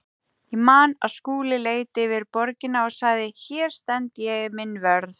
Ég man að Skúli leit yfir borgina og sagði: Hér stend ég minn vörð.